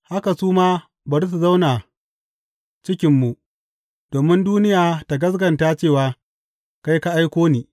Haka su ma bari su zauna cikinmu, domin duniya ta gaskata cewa kai ka aiko ni.